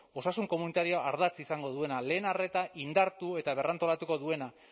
osasun komunitarioa ardatz izango duena lehen arreta indartu eta berrantolatuko duena